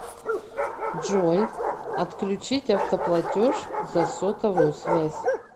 джой отключить автоплатеж за сотовую связь